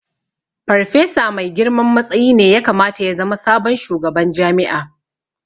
Farfesa mafi girman matsayi ne ya kamata ya zama sabon shugaban jami'a